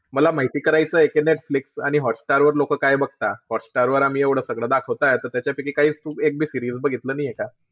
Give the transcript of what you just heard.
मला माहिती करायचंय की नेटफ्लिक्स आणि हॉटस्टार वर लोक काय बघता. हॉटस्टारवर आम्ही एव्हडं सगळं दाखवताय त त्यांच्यापैकी काहीच तू एक बी series बघितलं नाहीये का?